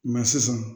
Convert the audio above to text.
sisan